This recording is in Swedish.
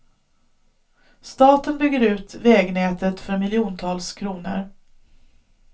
Staten bygger ut vägnätet för miljontals kronor.